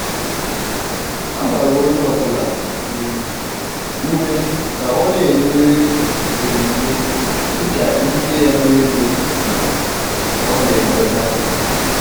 a gbara onye ọbụla um ùmè ka ó na-enye onyinye dịka íké ya na ègò um ọ̀ na-enweta.